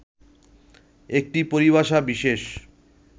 একটি পরিভাষা বিশেষ